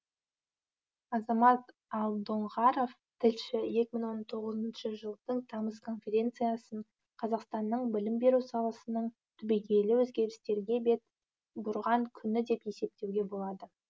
азамат алдоңғаров тілші екі мың он тоғызыншы жылдың тамыз конференциясын қазақстанның білім беру саласының түбегейлі өзгерістерге бет бұрған күні деп есептеуге болады